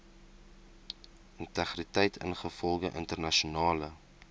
integriteit ingevolge internasionale